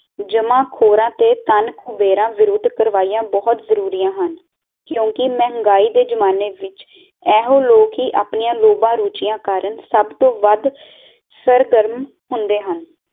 ਕਿਉਕਿ ਮਹਿੰਗਾਈ ਦੇ ਜਮਾਨੇ ਵਿੱਚ ਇਹੋ ਲੋਕ ਹੀ ਆਪਣੀਆਂ ਲੋਬਾ ਰੁਚੀਆਂ ਕਾਰਨ ਸਬ ਤੋਂ ਵੱਧ ਸਰਗਰਨ ਹੁੰਦੇ ਹਨ